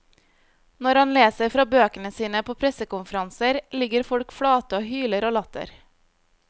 Når han leser fra bøkene sine på pressekonferanser, ligger folk flate og hyler av latter.